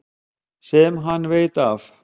Sem hann veit af.